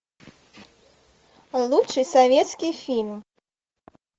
лучший советский фильм